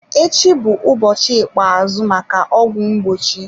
Echi bụ ụbọchị ikpeazụ maka ọgwụ mgbochi.